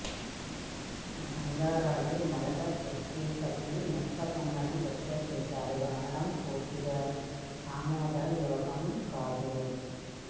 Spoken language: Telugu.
గంగారాజు మొదటి పృధ్వీపతి నిర్పతుంగను వ్యతిరేకించాడు అనడం పూర్తిగా ఆమోదయోగ్యం కాదు